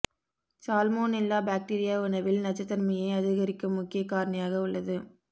salmonella bacteria உணவில் நச்சுத்தன்மையை அதிகரிக்கும் முக்கிய காரணியாக உள்ளது